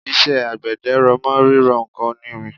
iṣẹ́ àgbẹ̀dẹ r'ọ̀mọ́ rírọ ǹkan onírin